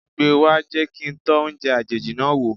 Gbe wá, jẹ́ kí n tọ́ oúnjẹ àjèjì náà wò.